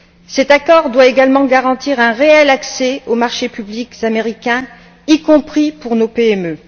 Cet accord doit également garantir un réel accès aux marchés publics américains, y compris pour nos PME.